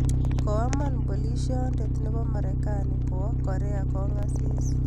koaman polisionde nebo marekani kowoo Korea kongasi